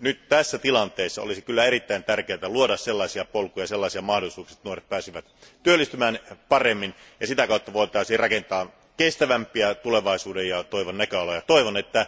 Nyt tässä tilanteessa olisi kyllä erittäin tärkeää luoda sellaisia polkuja, sellaisia mahdollisuuksia, että nuoret pääsisivät työllistymään paremmin ja sitä kautta voitaisiin rakentaa kestävämpiä tulevaisuuden ja toivon näköaloja. Toivon, että